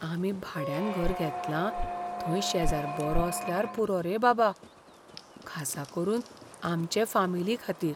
आमी भाड्यान घर घेतलां थंय शेजार बरो आसल्यार पुरो रे बाबा, खासा करून आमचे फामिलीखातीर.